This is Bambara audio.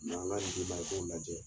Na n ka nin d'i ma i k'o lajɛ.